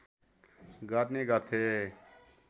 गर्ने गर्थे